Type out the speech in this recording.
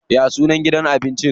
Ya sunan gidan abinci?